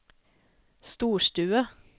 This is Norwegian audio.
storstue